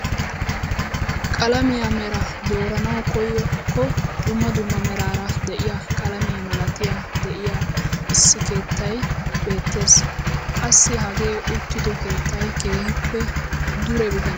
Qalamiyaa meraa doranawu koykko dumma dumma meraara de'iyaa qalamiyaa malatay de'iyo issi keettay beettees. Qassi hagee uttido keettay kehippe dure bitaniyaaga!